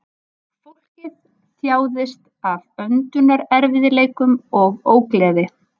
Fólkið þjáðist af öndunarerfiðleikum og ógleði